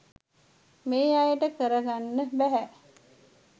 මේ අයට කරගන්න බැහැ